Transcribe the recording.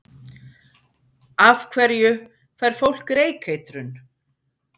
Af hverju fær fólk reykeitrun?